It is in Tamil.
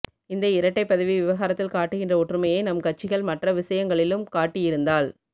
இந்த இரட்டைப்பதவி விவகாரத்தில் காட்டுகின்ற ஒற்றுமையை நம் கட்சிகள் மற்ற விஷயங்களிலும் காட்டியிருந்தால்